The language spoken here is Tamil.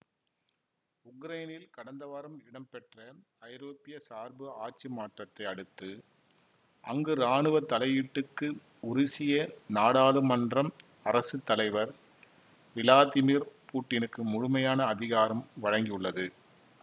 உக்ரைனில் கடந்த வாரம் இடம்பெற்ற ஐரோப்பிய சார்பு ஆட்சி மாற்றத்தை அடுத்து அங்கு இராணுவ தலையீட்டுக்கு உருசிய நாடாளுமன்றம் அரசு தலைவர் விளாதிமிர் பூட்டினுக்கு முழுமையான அதிகாரம் வழங்கியுள்ளது